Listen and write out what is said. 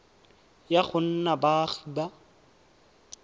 ya go nna baagi ba